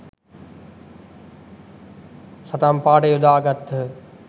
සටන්පාඨය යොදා ගත්හ